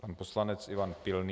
Pan poslanec Ivan Pilný.